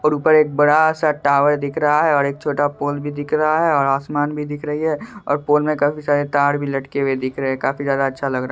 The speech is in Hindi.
और ऊपर एक बड़ा सा टावर दिख रहा है और एक छोटा पोल भी दिख रहा है और आसमान भी दिख रही है और पोल में काफी सारे तार भी लटके हुए दिख रहे हैं काफी ज्यादा अच्छा लग रहा--